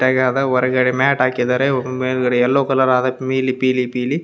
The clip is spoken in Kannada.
ನೀಟಾಗಿ ಯಾವ್ದೋ ಹೊರಗಡೆ ಮ್ಯಾಟ್ ಹಾಕಿದ್ದಾರೆ ಮೇಲ್ಗಡೆ ಯಲ್ಲೋ ಕಲರ್ ನೀಲಿ ಪೀಲಿ ಪೀಲಿ.